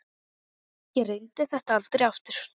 Ég reyndi þetta aldrei aftur.